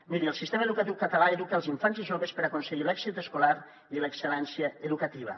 miri el sistema educatiu català educa els infants i joves per aconseguir l’èxit escolar i l’excel·lència educativa